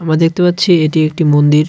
আমরা দেখতে পাচ্ছি এটি একটি মন্দির .